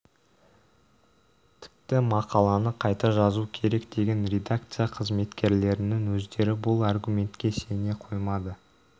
тіпті мақаланы қайта жазу керек деген редакция қызметкерлерінің өздері бұл аргументке сене қоймады